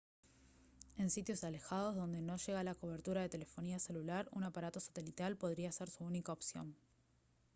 en sitios alejados donde no llega la cobertura de telefonía celular un aparato satelital podría ser su única opción